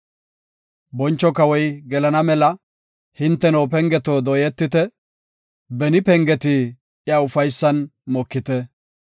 Boncho kawoy gelana mela, hinteno pengeto dooyetite; beni pengeti iya ufaysan mokite.